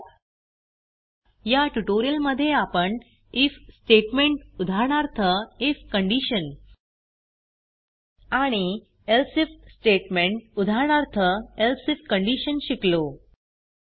थोडक्यात या ट्यूटोरियल मध्ये आपण आयएफ स्टेटमेंट उदाहरणार्थ आयएफ आणि एल्से आयएफ स्टेटमेंट उदाहरणार्थ एल्से आयएफ शिकलो